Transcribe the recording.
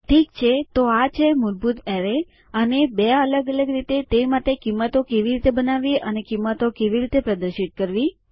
ઠીક છે તો આ છે મૂળભૂત એરેય અને બે અલગ અલગ રીતે તે માટે કિંમતો કેવી રીતે બનાવવી અને આ કિંમતો કેવી રીતે પ્રદર્શિત કરવી